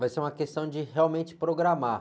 Vai ser uma questão de realmente programar.